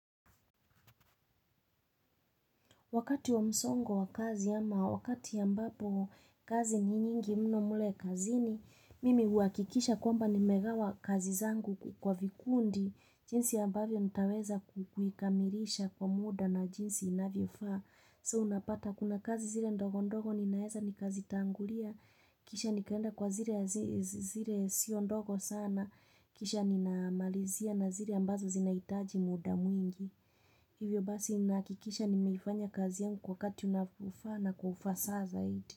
Wakati wa msongo wa kazi ama wakati ambapo kazi ni nyingi mno mle kazini, mimi huakikisha kwamba nimegawa kazi zangu kwa vikundi, jinsi ambavyo nitaweza kuikamilisha kwa muda na jinsi inavyofaa. So unapata kuna kazi zile ndogo ndogo ninaeza ni kazi tangulia, kisha nikaenda kwa zile zile sio ndogo sana, kisha ninaamalizia na zile ambazo zinahitaji muda mwingi. Hivyo basi nahakikisha nimeifanya kazi yangu kwa wakati unavofaa na kwa ufasaha zaidi.